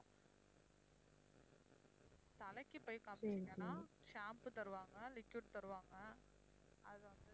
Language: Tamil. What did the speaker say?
தலைக்கு போயி காமிச்சீங்கன்னா shampoo தருவாங்க liquid தருவாங்க அதான்